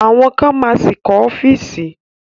Àwọn kan ma ṣì kọ́ ọ́fíìsì